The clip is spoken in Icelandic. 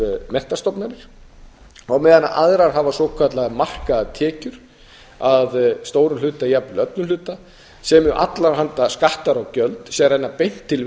menntastofnanir á meðan aðrar hafa svokallaðar markaðar tekjur að stórum hluta jafnvel öllum hluta sem eru allra handa skattar og gjöld sem renna beint til